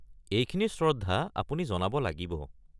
এইখিনি শ্রদ্ধা আপুনি জনাব লাগিব।